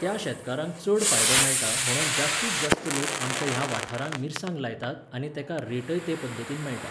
त्या शेतकारांक चड फायदो मेळटा म्हण जास्तींत जास्त लोक आमच्या ह्या वाठारांक मिरसांग लायतात आनी तेका रेटय ते पद्दतीन मेळटा